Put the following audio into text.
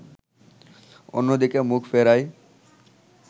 অন্যদিকে মুখ ফেরাই